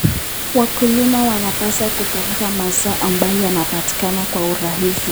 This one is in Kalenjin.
Wakulima wanapaswa kutafuta mazao ambayo yanapatikana kwa urahisi.